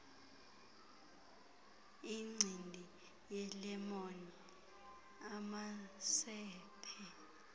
incindi yelemon amacephe